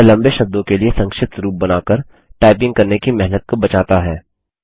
यह लम्बे शब्दों के लिए संक्षिप्त रूप बनाकर टाइपिंग करने की मेहनत को बचाता है